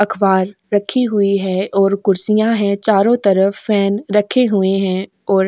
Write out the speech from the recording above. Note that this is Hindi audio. अखबार रखी हुई है और कुर्सियां है चारों तरफ फैन रखे हुए हैं और --